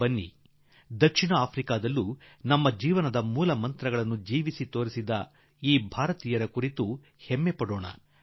ಬನ್ನಿ ದಕ್ಷಿಣ ಆಫ್ರಿಕಾದಲ್ಲಿ ನಮ್ಮ ಜೀವನದ ಮಂತ್ರಗಳನ್ನು ಬಾಳಿ ತೋರಿಸಿದ ನಮ್ಮ ಈ ಭಾರತೀಯರ ಬಗ್ಗೆ ಹೆಮ್ಮೆಪಡೋಣ